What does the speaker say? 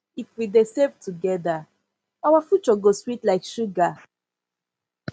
if we dey save together our future go sweet like sugar